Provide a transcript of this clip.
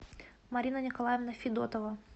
марина николаевна федотова